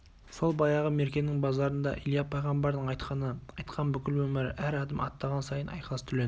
сол баяғы меркенің базарында илья пайғамбардың айтқаны айтқан бүкіл өмірі әр адым аттаған сайын айқас түлен